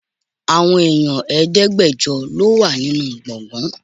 Àwọn èèyàn Ẹ̀ẹ́dẹ́gbẹjọ lọ wà nínú gbọ̀ngán.